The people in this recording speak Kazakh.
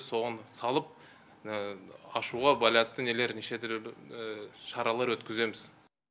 соған салып ашуға байланысты нелер неше түрлі шаралар өткіземіз